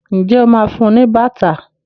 ìje ọ má fún ní bàtà?